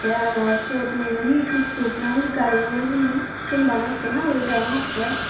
tey araw siyot mui iben hee tuktuk nahi gari hijeni siyen bana ekkena guri degongottey.